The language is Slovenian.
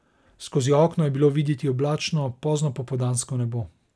Skozi okno je bilo videti oblačno poznopopoldansko nebo.